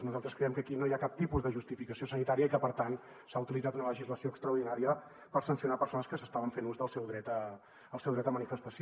nosaltres creiem que aquí no hi ha cap tipus de justificació sanitària i que per tant s’ha utilitzat una legislació extraordinària per sancionar persones que estaven fent ús del seu dret a manifestació